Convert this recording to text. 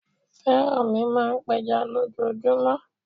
Fẹ́rànmi máa ń pẹja lójoojúmọ́.